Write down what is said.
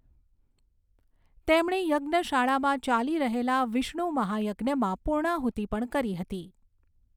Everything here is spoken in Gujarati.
તેમણે યજ્ઞશાળામાં ચાલી રહેલા વિષ્ણુ મહાયજ્ઞમાં પૂર્ણાહુતિ પણ કરી હતી.